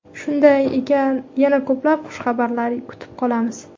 Shunday ekan, yana ko‘plab xushxabarlar kutib qolamiz.